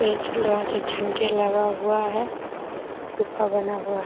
इ झूला छै झंडे लगा हुआ है गुफा बना हुआ --